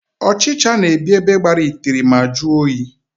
Ọchịcha na-ebi ebe gbara itiri ma jụọ oyi.